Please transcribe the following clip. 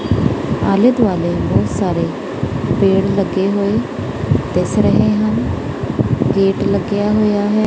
ਆਲੇ ਦੁਆਲੇ ਬਹੁਤ ਸਾਰੇ ਪੇੜ ਲੱਗੇ ਹੋਏ ਦਿੱਸ ਰਹੇ ਹਨ ਗੇਟ ਲੱਗਿਆ ਹੋਇਆ ਹੈ।